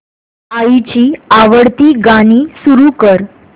आईची आवडती गाणी सुरू कर